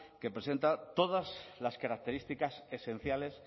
que presenta todas las características esenciales